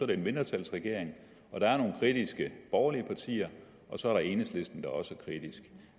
det en mindretalsregering og der er nogle kritiske borgerlige partier og så er der enhedslisten der også er kritisk